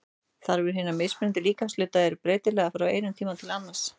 Þarfir hinna mismunandi líkamshluta eru breytilegar frá einum tíma til annars.